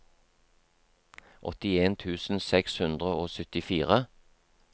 åttien tusen seks hundre og syttifire